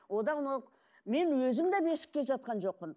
одан мен өзімде бесікке жатқан жоқпын